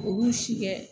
U b'u si kɛ